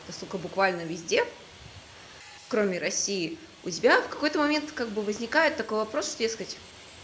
это сука буквально везде кроме россии у тебя в какой-то момент как бы возникает такой вопрос что дескать